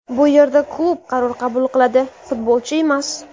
Bu yerda klub qaror qabul qiladi, futbolchi emas.